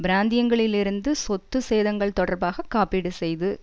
பிராந்தியங்களில் இருந்து சொத்து சேதங்கள் தொடர்பாக காப்பீடு செய்து